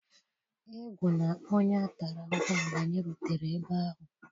Egwula onye a tara ahụhụ mgbe anyị rutere ebe ahụ!